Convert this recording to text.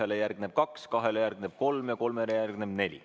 Ühele järgneb kaks, kahele järgneb kolm ja kolmele järgneb neli.